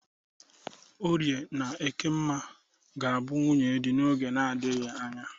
Orie na Ekemma ga-abụ nwunye dị n'oge na-adaghị anya.